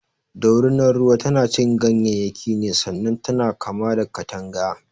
Dorinar ruwa tanacin ganyayyaki ne sannan tana kama da katanga.